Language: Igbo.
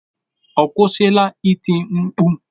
Ọ kwụsịla iti mkpu?